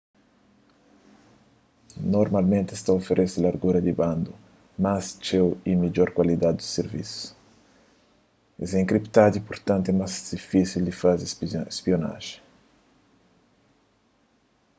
normalmenti es ta oferese largura di banda más txeu y midjor kualidadi di sirvisu es é enkriptadu y purtantu más difisil di faze spionajen